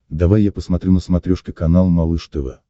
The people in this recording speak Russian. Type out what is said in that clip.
давай я посмотрю на смотрешке канал малыш тв